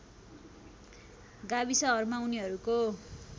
गाविसहरूमा उनीहरूको